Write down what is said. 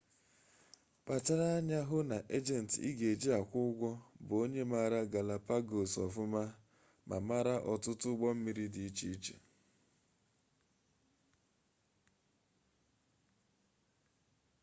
kpachara anya hụ na ejenti ị ga-eji akwụ ụgwọ bụ onye maara galapagos ọfụma ma mara ọtụtụ ụgbọ mmiri di iche iche